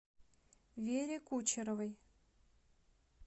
вере кучеровой